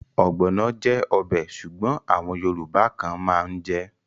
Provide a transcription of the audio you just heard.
Ogbono jẹ́ ọbẹ̀ Ṣùgbọ́n àwọn yorùbá kan mán jè.